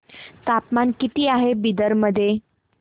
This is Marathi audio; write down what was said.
तापमान किती आहे बिदर मध्ये